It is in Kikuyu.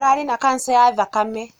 Ararĩna kanca ya thakame.